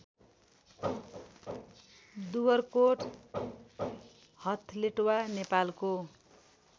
दुवरकोट हथलेटवा नेपालको